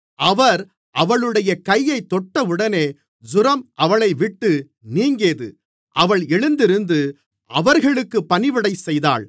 அவர் அவளுடைய கையைத் தொட்டவுடனே ஜூரம் அவளைவிட்டு நீங்கியது அவள் எழுந்திருந்து அவர்களுக்குப் பணிவிடைசெய்தாள்